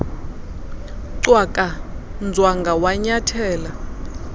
cwaka nzwanga wanyathela